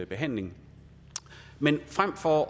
behandling men frem for